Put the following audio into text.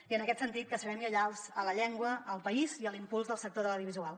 i en aquest sentit que serem lleials a la llengua al país i a l’impuls del sector de l’audiovisual